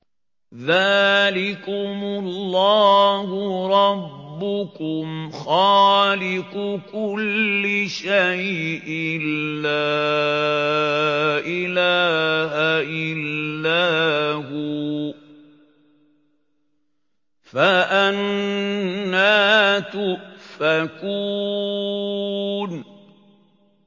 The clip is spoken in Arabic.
ذَٰلِكُمُ اللَّهُ رَبُّكُمْ خَالِقُ كُلِّ شَيْءٍ لَّا إِلَٰهَ إِلَّا هُوَ ۖ فَأَنَّىٰ تُؤْفَكُونَ